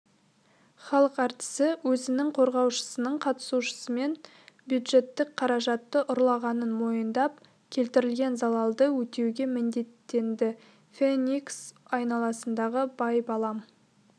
халық әртісі өзінің қорғаушысының қатысуымен бюджеттік қаражатты ұрлағанын мойындап келтірілген залалды өтеуге міндеттенді феникс айналасындағы байбалам